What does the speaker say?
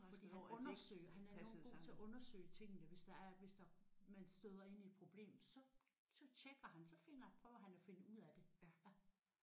Fordi han undersøger. Han er enormt god til at undersøge tingene hvis der er hvis det man støder ind i et problem så så tjekker han så finder han så prøver han at finde ud af det